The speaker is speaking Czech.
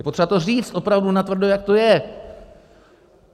Je potřeba to říct opravdu natvrdo, jak to je.